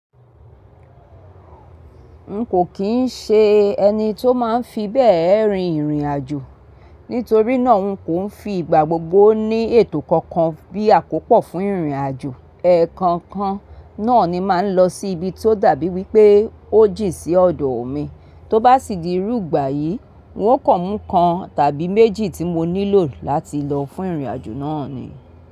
N kò kín n ṣe ẹni tó má n fi bẹ́ẹ̀ rin ìrìn àjò, nítorí náà n kò n fi ìgbà gbogbo ní ètò kankan bí àkópò fún ìrìn àjò. Ẹ̀ẹ̀kan kan náà ni mà n lọ sí ibi tó dàbí wípé ó jìn sí ọ̀dọ̀ omi. Tó bá sì di irú ìgbà yìí, n ó kàn mú kan tàbí méjì tí mo nílò láti lọ fún ìrìn àjò náà ni.